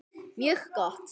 Mjög gott!